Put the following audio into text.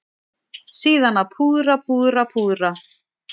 Síðan að púðra, púðra, púðra.